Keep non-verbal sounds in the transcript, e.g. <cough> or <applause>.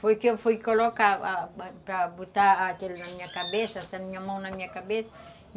Foi que eu fui colocar <unintelligible> para botar na minha cabeça,